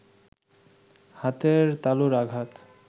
হাতের তালুর আঘাত